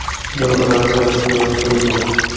Ular orasida Rossiya va Xitoy yo‘q.